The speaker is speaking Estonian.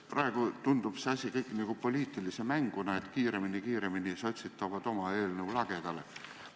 Praegu tundub see kõik nagu poliitilise mänguna, sotsid tulevad kiiremini oma eelnõuga lagedale.